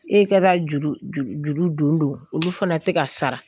E ka taara juru don don olu fana tɛ ka sara